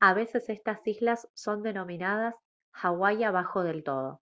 a veces estas islas son denominadas «hawái abajo del todo»